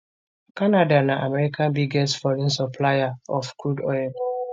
canada na america biggest foreign supplier of crude oil